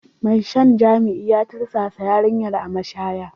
Mai shan jima'i ya tursasa yarinyar a mashaya.